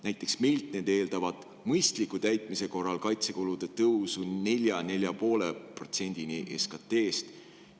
Näiteks meilt need eeldavad mõistliku täitmise korral kaitsekulude tõusu 4–4,5%-ni SKT-st.